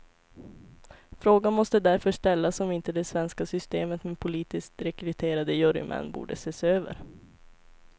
Frågan måste därför ställas om inte det svenska systemet med politiskt rekryterade jurymän borde ses över.